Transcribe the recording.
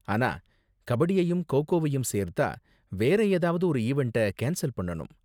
ஆனா கபடியையும் கோ கோவயும் சேர்த்தா வேற ஏதாவது ஒரு ஈவண்ட்ட கேன்ஸல் பண்ணனும்.